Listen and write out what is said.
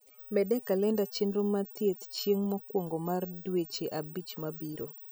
med e kalenda chenro mar thieth chieng mokwongo mar dweche abich mabiro